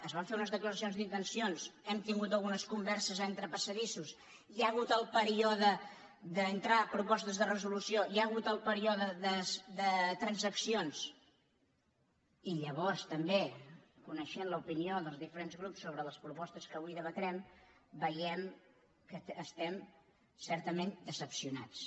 es van fer unes declaracions d’intencions hem tingut unes converses entre passadissos hi ha ha·gut el període d’entrada de propostes de resolució hi ha hagut el període de transaccions i llavors també coneixent l’opinió dels diferents grups sobre les pro·postes que avui debatrem veiem que estem certament decebuts